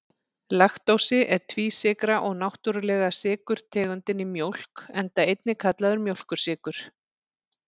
Laktósi er tvísykra og náttúrulega sykurtegundin í mjólk, enda einnig kallaður mjólkursykur.